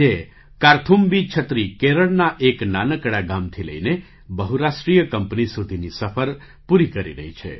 આજે કાર્થુમ્બી છત્રી કેરળના એક નાનકડા ગામથી લઈને બહુરાષ્ટ્રીય કંપની સુધીની સફર પૂરી કરી રહી છે